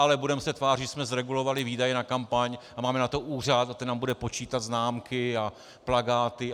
Ale budeme se tvářit, že jsme zregulovali výdaje na kampaň, a máme na to úřad a ten nám bude počítat známky a plakáty.